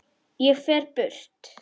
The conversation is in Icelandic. Ég fer burt.